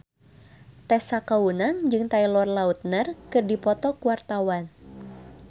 Tessa Kaunang jeung Taylor Lautner keur dipoto ku wartawan